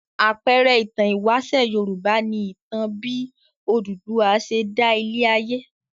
Àpẹẹrẹ ìtàn ìwáṣẹ̀ Yorùbá ni ìtàn bí Odùduwà ṣe dá ilé-ayé.